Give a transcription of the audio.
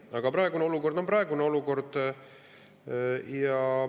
Aga praegune olukord on praegune olukord.